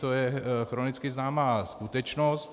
To je chronicky známá skutečnost.